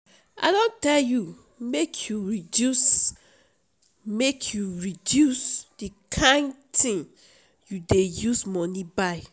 i don tell you make you reduce make you reduce the kyn thing you dey use money buy